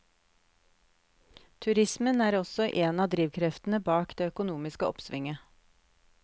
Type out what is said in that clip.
Turismen er også en av drivkreftene bak det økonomiske oppsvinget.